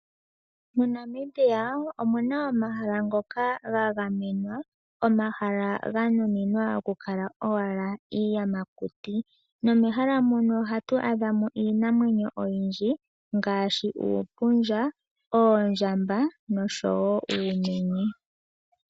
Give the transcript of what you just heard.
MoNamibia omu na omahala ngoka ga gamenwa, omahala ganuninwa owala okukala iiyamakuti. Nomehala muno ohatu adha mo iinamwenyo oyindji ngaashi uupundja, oondjamba noshowo uumenye.